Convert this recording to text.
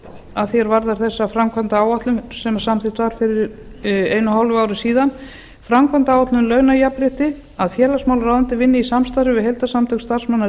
að því er varðar þessa framkvæmdaáætlun sem samþykkt var fyrir einu og hálfu ári síðan framkvæmdaáætlun um launajafnrétti að félagsmálaráðuneytið vinni í samstarfi við heildarsamtök starfsmanna